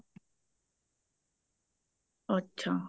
ਅੱਛਾ